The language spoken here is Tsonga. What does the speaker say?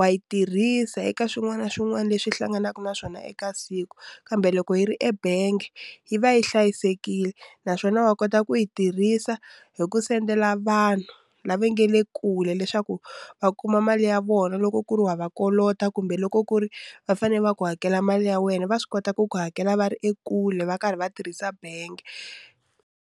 wa yi tirhisa eka swin'wana na swin'wana leswi hlanganaka na swona eka siku kambe loko yi ri ebangi yi va yi hlayisekile naswona va kota ku yi tirhisa hi ku sendela vanhu lava nga le kule leswaku va kuma mali ya vona loko ku ri wa va kolota kumbe loko ku ri va fanele va ku hakela mali ya wena va swi kota ku ku hakela va ri ekule va karhi va tirhisa bangi.